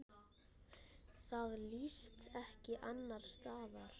Það líðst ekki annars staðar.